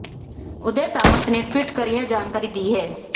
उदय सामंत ने ट्वीट कर यह जानकारी दी है